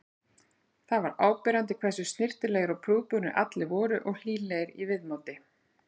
Það var áberandi hversu snyrtilegir og prúðbúnir allir voru og hlýlegir í viðmóti.